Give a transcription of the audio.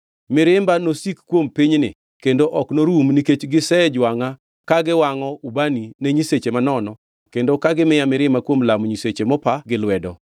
Mirimba nosik kuom pinyni kendo ok norum nikech gisejwangʼa ka giwangʼo ubani ne nyiseche manono kendo ka gimiya mirima kuom lamo nyiseche mopa gi lwedo.’